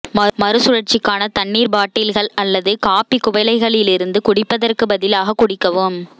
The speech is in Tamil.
மறுசுழற்சிக்கான தண்ணீர் பாட்டில்கள் அல்லது காபி குவளைகளிலிருந்து குடிப்பதற்கு பதிலாக குடிக்கவும்